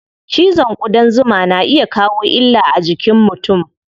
Cizon ƙudan zuma na iya kawo illa a jikin mutum.